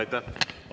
Aitäh!